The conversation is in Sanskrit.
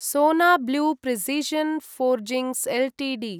सोना ब्ल्यू प्रिसीशन् फोर्जिंग्स् एल्टीडी